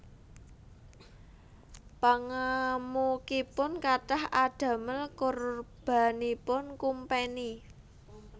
Pangamukipun kathah adamel korbanipun kumpeni